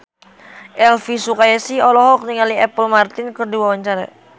Elvi Sukaesih olohok ningali Apple Martin keur diwawancara